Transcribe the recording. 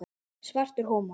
Svartur húmor.